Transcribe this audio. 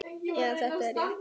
Já, þetta er rétt.